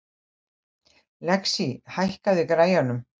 Lexí, hækkaðu í græjunum.